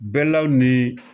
Bɛɛlaw ni